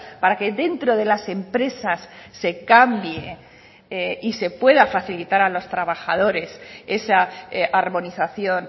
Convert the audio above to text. para que dentro de las empresas se cambie y se pueda facilitar a los trabajadores esa armonización